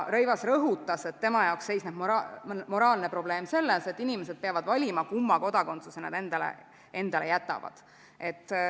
Rõivas rõhutas, et tema jaoks seisneb moraalne probleem selles, et inimesed peavad valima, kumma kodakondsuse nad endale jätavad.